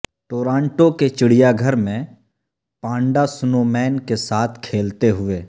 Toronto کے چڑیا گھر میں پانڈا سنو مین کے ساتھ کھیلتے ہوئے